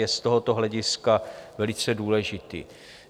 je z tohoto hlediska velice důležitý.